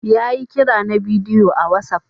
Ya yi kira na bidiyo a whatsapp.